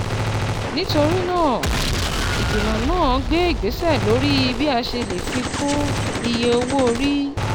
Nítorí náà, ìgbìmọ̀ náà gbé ìgbésẹ̀ lórí bí a ṣe lè fi kún iye owó orí